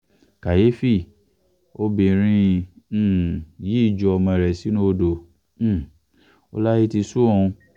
kàyééfì obìnrin um yìí ju ọmọ rẹ̀ sínú odò um ó láyé ti sún òun